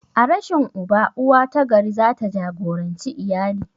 A rashin uba, uwa ta gari za ta jagoranci iyali.